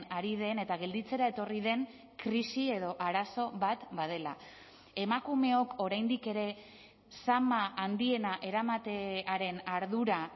ari den eta gelditzera etorri den krisi edo arazo bat badela emakumeok oraindik ere zama handiena eramatearen ardura